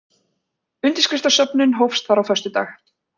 Undirskriftasöfnun hófst þar á föstudag